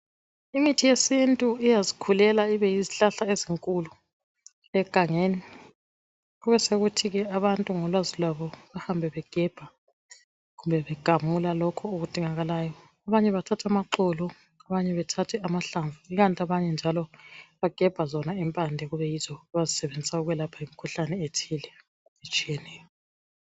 Imithi yesintu iyazikhulela ibeyizihlahla ezinkulu egangeni kubesokuthi abantu ngolwazi lwabo behambe negebha kumbe begamula lokhu okudingakalayo. Abanye bethathe amaxolo abanye bathathe amahlamvu ikanti abanye njalo bagebha zona impande ezisetshenziswayo ukwelapha imikhuhlane ethile.